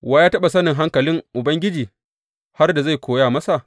Wa ya taɓa sanin hankalin Ubangiji, har da zai koya masa?